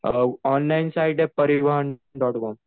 online site आहे Parivahan dot com